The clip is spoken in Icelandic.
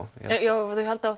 ef þau halda